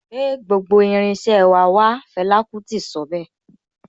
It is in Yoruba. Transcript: Gbé gbogbo irin iṣẹ́ wà wá' Fẹlà kútì wí.